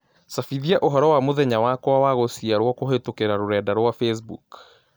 cabithia ũhoro wa mũthenya wakwa wa gũciarwokũhītũkīra rũrenda rũa facebook